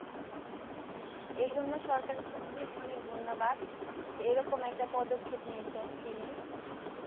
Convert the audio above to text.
এজন্য সরকার অনেক অনেক ধন্যবাদ এরকম একটা পদক্ষেপ নিয়েছেন তিনি